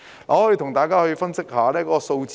我可以跟大家分析一下數字。